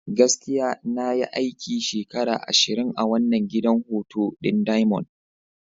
Gaskiya! Na yi aiki shekara ashirin a wannan gidan hutu ɗin diamond.